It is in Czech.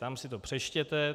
Tam si to přečtěte.